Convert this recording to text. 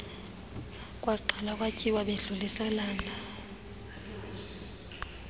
kwaqalwa kwatyiwa bedluliselana